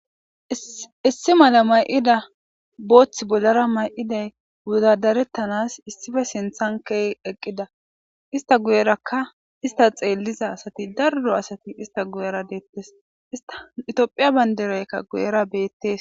Issi mala mayida bothi bolara mayida wodadaretanas issipe sinthan ke'i eqida ista guyeraka ista xeliza daro asati ista guyera detes tophiya bandirayka guyera beetes